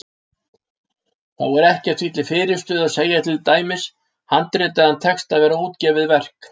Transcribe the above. Þá er ekkert því til fyrirstöðu að segja til dæmis handritaðan texta vera útgefið verk.